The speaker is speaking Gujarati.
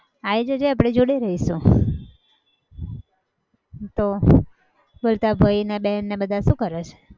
આવી જજે આપણે જોડે રહીશું. તો બોલ તારા ભાઈ અને બેન ને બધા શું કરે છે?